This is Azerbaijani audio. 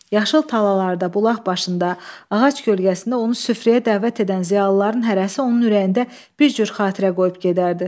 Yaşıl talalarda, bulaq başında, ağac kölgəsində onu süfrəyə dəvət edən ziyalıların hərəsi onun ürəyində bir cür xatirə qoyub gedərdi.